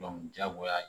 diyagoya ye